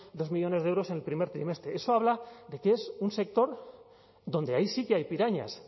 dos millónes de euros en el primer trimestre eso habla de que es un sector donde ahí sí que hay pirañas